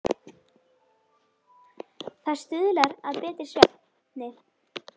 Það stuðlar að betri svefni.